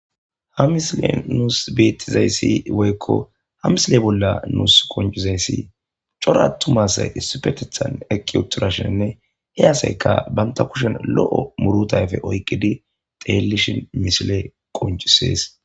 Ha missilen nus betizaysi woyko ha missile bola nusi qonc'isizaysi c'ora atuma asay issipetetan eqi utirashininne he asayka banta kushen lo'o muruta ayfe oyqidi dhelishin missile qonc'ses.